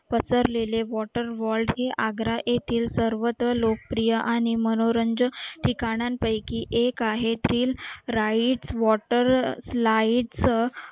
पसरलेले water wall चे आग्रा येथील सर्वत्र लोकप्रिय आणि मनोरंजन ठिकाणांपैकी एक आहे